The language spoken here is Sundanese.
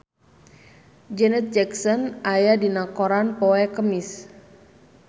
Janet Jackson aya dina koran poe Kemis